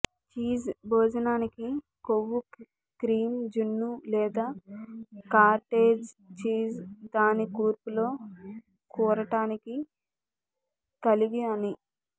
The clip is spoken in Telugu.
చీజ్ భోజనానికి కొవ్వు క్రీమ్ జున్ను లేదా కాటేజ్ చీజ్ దాని కూర్పు లో కూరటానికి కలిగి అని